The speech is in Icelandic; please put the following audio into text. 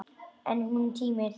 En hún tímir því ekki!